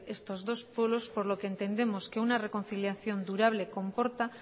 estos dos pueblos por lo que entendemos que una reconciliación durable comporta